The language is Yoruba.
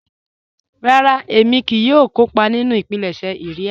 Rárà, ẹ̀mí kíì yóò kọ́pà nínu ìpílẹ̀ṣẹ̀ ìria.